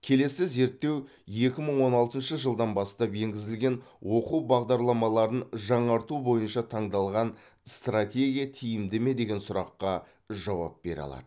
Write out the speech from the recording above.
келесі зерттеу екі мың он алтыншы жылдан бастап енгізілген оқу бағдарламаларын жаңарту бойынша таңдалған стратегия тиімді ме деген сұраққа жауап бере алады